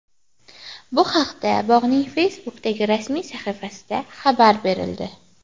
Bu haqda bog‘ning Facebook’dagi rasmiy sahifasida xabar berildi .